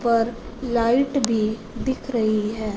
पर लाइट भी दिख रही है।